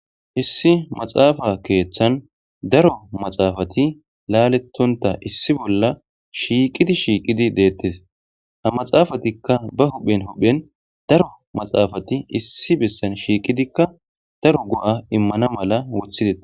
issi maxaafa keeththan daro maxaafati laalettonta issi bolla shiiqidi shiiqidi deettes ha maxaafatikka ba huhphen huphen daro maxaafati issi bessan shiiqidikka daro go7a immana mala wothideta